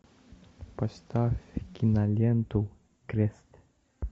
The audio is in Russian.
поставь киноленту крест